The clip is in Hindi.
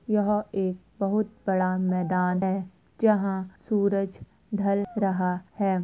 यहाँ एक बहुत बड़ा मैदान है जहाँ सूरज ढल रहा है।